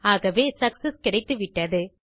ஆகவே சக்செஸ் கிடைத்துவிட்டது